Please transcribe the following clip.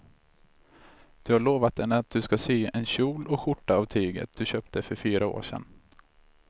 Du har lovat henne att du ska sy en kjol och skjorta av tyget du köpte för fyra år sedan.